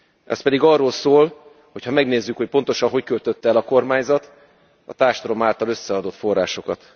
Ez pedig arról szól, hogy ha megnézzük, hogy pontosan hogy költötte el a kormányzat a társadalom által összeadott forrásokat.